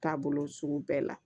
Taabolo sugu bɛɛ la